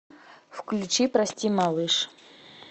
включи прости малыш